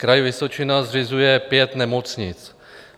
Kraj Vysočina zřizuje pět nemocnic.